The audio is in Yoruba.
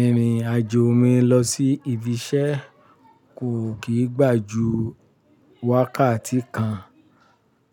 Ìrìn àjò mi lọ sí ibi iṣẹ́ kò kì í gbà ju wákàtí kan,